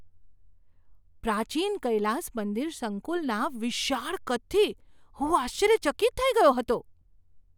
પ્રાચીન કૈલાસ મંદિર સંકુલના વિશાળ કદથી હું આશ્ચર્યચકિત થઈ ગયો હતો!